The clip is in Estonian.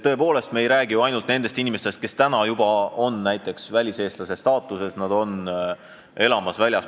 Me ei räägi ju ainult nendest inimestest, kes väliseestlastena väljaspool Eestit elavad.